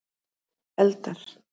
eldar